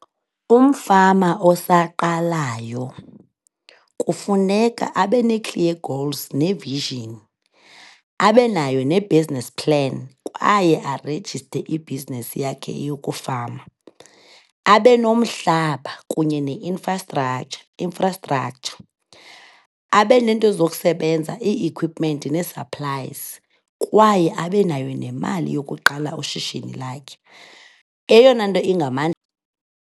Umfama osaqalayo kufuneka abanee-clear goals ne-vision, abe nayo ne-business plan kwaye arejiste ibhizinesi yakhe yokufama. Abe nomhlaba kunye ne-infrastructure infrastructure, abe nento zokusebenza, ii-equipment nee-supplies, kwaye abe nayo nemali yokuqala ishishini lakhe. Eyona nto